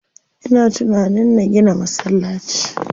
Ina tunanin na gina masallaci.